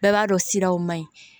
Bɛɛ b'a dɔn siraw ma ɲi